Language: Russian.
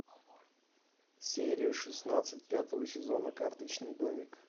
серия шестнадцать пятого сезона карточный домик